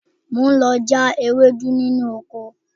Mo ń lọ já ewédú nínú oko